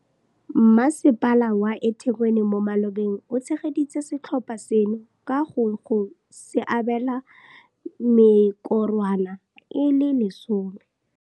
Masepala wa eThekwini mo malobeng o tshegeditse setlhopha seno ka go go se abela mekorwana e le 10.